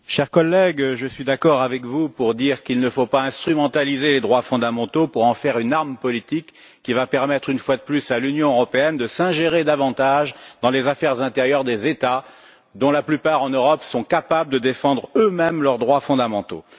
Monsieur le Président, cher collègue, je suis d'accord avec vous pour dire qu'il ne faut pas instrumentaliser les droits fondamentaux pour en faire une arme politique qui va permettre, une fois de plus, à l'Union européenne de s'ingérer davantage dans les affaires intérieures des États, dont la plupart en Europe sont capables de défendre eux mêmes leurs droits fondamentaux.